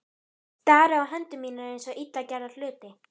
Stari á hendur mínar eins og illa gerða hluti.